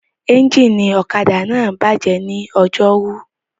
Ẹ́ńjìnì ọ̀kadà náà bàjẹ́ ní Ọjọ́rú